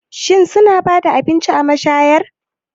Shin suna ba da abinci a mashayar?